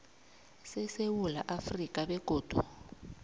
sesewula afrika begodu